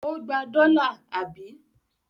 Ó gba dọ́là, àbí?